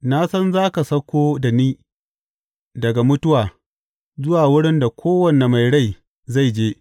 Na san za ka sauko da ni ga mutuwa zuwa wurin da kowane mai rai zai je.